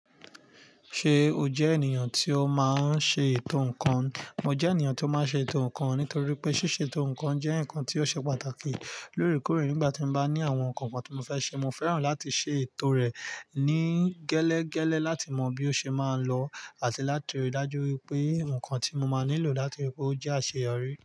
Ṣé o jẹ́ ènìyàn tí ó máa ń ṣe ètò ǹkan? Mo jẹ́ ènìyàn tí ó máa ń ṣe ètò ǹkan nítorí pé ṣíṣe ètò ǹkan jẹ́ ǹkan tí ó ṣe pàtàkì lóorekóore nígbà tí mo bá ní àwọn ǹkan kan tí mo fẹ́ ṣe. Mo fẹ́ràn láti ṣe ètò rẹ̀ ní gẹ́lẹ́gẹ́lẹ́ láti mọ bí ó ṣe máa lọ àti láti ri dájú wípé ǹkan tí mo máa nílò láti rí pé ó jẹ́ àṣeyọrí.